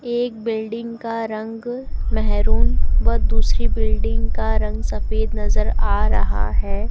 एक बिल्डिंग का रंग मेहरून व दूसरी बिल्डिंग का रंग सफेद नजर आ रहा है।